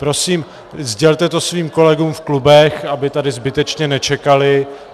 Prosím, sdělte to svým kolegům v klubech, aby tady zbytečně nečekali.